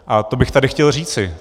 A to bych tady chtěl říci.